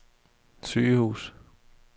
sygehus